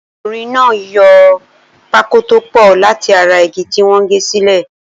Okùnrin náà yo pákó tó pọ̀ láti ara igi tí wọ́n gẹ́ sílẹ̀.